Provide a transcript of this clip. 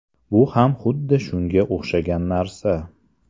Bu ham xuddi shunga o‘xshagan narsa.